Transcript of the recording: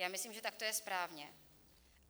Já myslím, že tak to je správně.